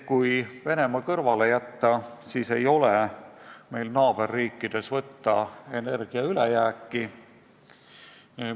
Kui Venemaa kõrvale jätta, siis ei ole meil naaberriikidest energia ülejääki võtta.